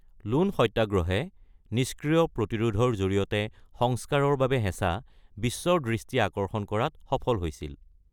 Loan সত্যাগ্ৰহ ("নিষ্ক্ৰিয় প্ৰতিৰোধৰ জৰিয়তে সংস্কাৰৰ বাবে হেঁচা") বিশ্বৰ দৃষ্টি আকৰ্ষণ কৰাত সফল হৈছিল।